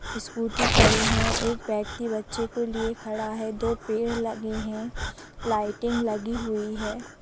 Scooty खड़ी हैं एक व्यक्ति बच्चे को लिए खड़ा हैं दो पेड़ लगे हैं लाइटिंग लगी हुई है।